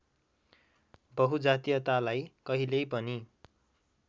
बहुजातीयतालाई कहिल्यै पनि